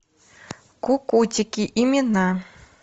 кукутики имена